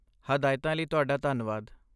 ਹਦਾਇਤਾਂ ਲਈ ਤੁਹਾਡਾ ਧੰਨਵਾਦ।